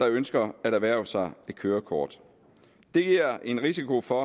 ønsker at erhverve sig et kørekort det giver en risiko for